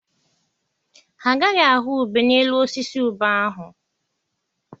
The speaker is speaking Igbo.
Ha agaghị ahụ ube n'elu osisi ube ahụ.